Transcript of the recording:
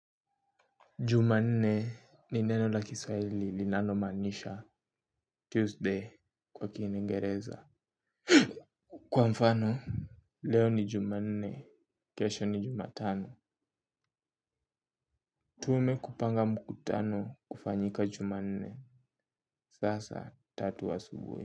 Juma nne ni neno la kiswahili linalo maanisha Tuesday kwa kinengereza. Kwa mfano leo ni juma nne kesho ni jumatano. Tume kupanga mkutano kufanyika jumanne vaa saa tatu asubuhi.